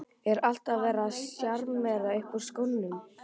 Er alltaf verið að sjarmera upp úr skónum?